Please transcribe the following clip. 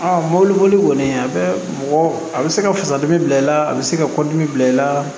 mɔbili boli kɔni a bɛ mɔgɔ a bɛ se ka fasadimi bila i la a bɛ se ka kɔdimi bila i la